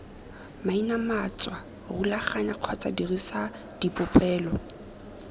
mainamatswa rulaganya kgotsa dirisa dipolelo